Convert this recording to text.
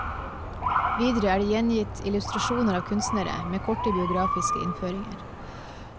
Videre er det gjengitt illustrasjoner av kunstnere, med korte biografiske innføringer.